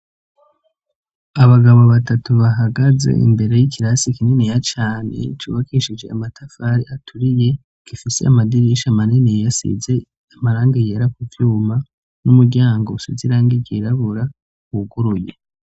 Abagabo batatu bahagaze imbere y'ikirasi kininiya cane cubakishije amatafari aturiye, gifise amadirisha maniniya asize amarangi yera kuvyuma, n'umuryango usize irangi ryirabura wuguruye.